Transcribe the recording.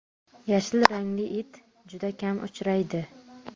Yashil rangli it juda kam uchraydi.